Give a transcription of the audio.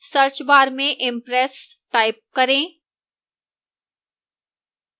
search bar में impress type करें